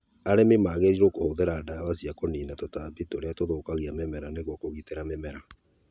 Arĩmi magĩrĩirũo kũhũthĩra ndawa cia kũniina tũtambi tũrĩa tũthũkagia mĩmera nĩguo magitĩra mĩmera